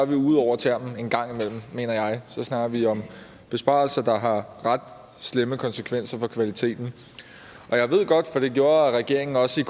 vi ude over termen engang imellem mener jeg så snakker vi om besparelser der har ret slemme konsekvenser for kvaliteten og jeg ved godt for det gjorde regeringen også i